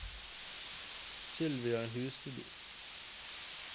Sylvia Husby